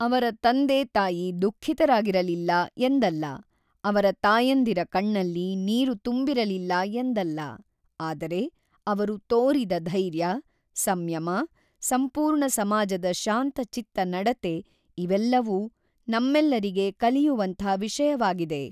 ಅವರ ತಂದೆ ತಾಯಿ ದುಖಿಃತರಾಗಿರಲಿಲ್ಲ ಎಂದಲ್ಲ, ಅವರ ತಾಯಂದಿರ ಕಣ್ಣಲ್ಲಿ ನೀರು ತುಂಬಿರಲಿಲ್ಲ ಎಂದಲ್ಲ, ಆದರೆ ಅವರು ತೋರಿದ ದೈರ್ಯ, ಸಂಯಮ, ಸಂಪೂರ್ಣ ಸಮಾಜದ ಶಾಂತಚಿತ್ತ ನಡತೆ ಇದೆಲ್ಲವೂ ನಮ್ಮೆಲ್ಲರಿಗೆ ಕಲಿಯುವಂಥ ವಿಷಯವಾಗಿದೆ.